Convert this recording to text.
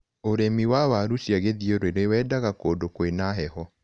ũrĩmi wa waru ciagĩthiũrũri wendaga kũndũ kwĩna heho.